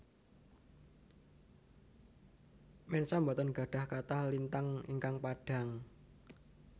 Mensa boten gadhah kathah lintang ingkang padhang